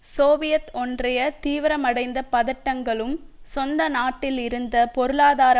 Soviet ஒன்றிய தீவிரமடைந்த பதட்டங்களும் சொந்த நாட்டில் இருந்த பொருளாதார